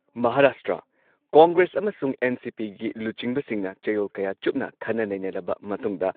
ꯃꯍꯥꯔꯥꯁꯇ꯭ꯔ- ꯀꯣꯡꯒ꯭ꯔꯦꯁ ꯑꯃꯁꯨꯡ ꯑꯦꯟ.ꯁꯤ.ꯄꯤꯒꯤ ꯂꯨꯆꯤꯡꯕꯁꯤꯡꯅ ꯆꯌꯣꯜ ꯀꯌꯥ ꯆꯨꯞꯅ ꯈꯟꯅ ꯅꯩꯅꯔꯕ ꯃꯇꯨꯡꯗ